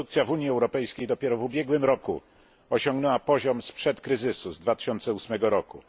Produkcja w Unii Europejskiej dopiero w ubiegłym roku osiągnęła poziom sprzed kryzysu, z 2008 roku.